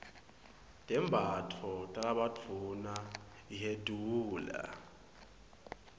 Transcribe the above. tembatfo talabadvuna hyedula